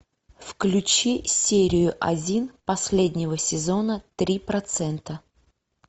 включи серию один последнего сезона три процента